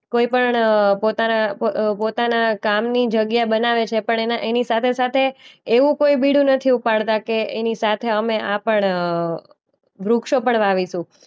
કોઈ પણ અ પોતાના પ અ પોતાના કામની જગ્યા બનાવે છે પણ એના એની સાથે-સાથે એવું કોઈ બીડું નથી ઉપાડતા કે એની સાથે અમે આ પણ અ વૃક્ષો પણ વાવીશું.